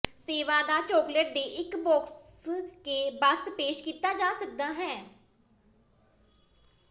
ਸੇਵਾਦਾਰ ਚੌਕਲੇਟ ਦੇ ਇੱਕ ਬਾਕਸ ਕੇ ਬਸ ਪੇਸ਼ ਕੀਤਾ ਜਾ ਸਕਦਾ ਹੈ